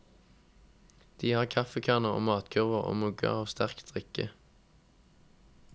De har kaffekanner og matkurver og mugger av sterkt drikke.